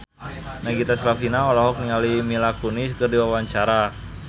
Nagita Slavina olohok ningali Mila Kunis keur diwawancara